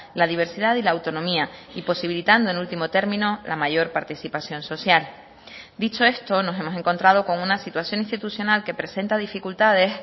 la diversidad y la autonomía y posibilitando en último término la mayor participación social dicho esto nos hemos encontrado con una situación institucional que presenta dificultades